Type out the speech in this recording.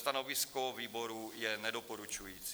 Stanovisko výboru je nedoporučující.